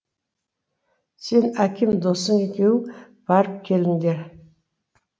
сен аким досың екеуің барып келіңдер